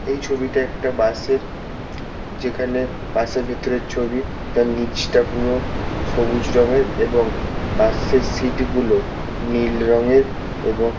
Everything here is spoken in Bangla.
এই ছবিটা একটা বাসের যেখানে বাসের ভিতরের ছবি তার নিচটা পুরো সবুজ রঙের এবং বাসের সিট্গুলো নীল রঙের এবং।